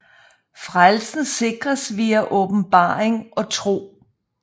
Frelsen sikres via åbenbaring og tro